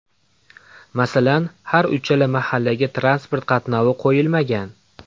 Masalan, har uchala mahallaga transport qatnovi qo‘yilmagan.